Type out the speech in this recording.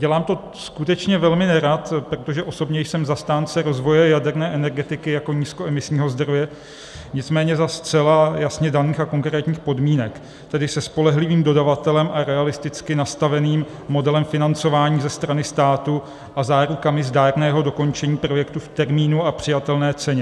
Dělám to skutečně velmi nerad, protože osobně jsem zastáncem rozvoje jaderné energetiky jako nízkoemisního zdroje, nicméně za zcela jasně daných a konkrétních podmínek, tedy se spolehlivým dodavatelem a realisticky nastaveným modelem financování ze strany státu a zárukami zdárného dokončení projektu v termínu a přijatelné ceně.